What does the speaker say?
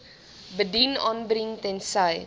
bedien aanbring tensy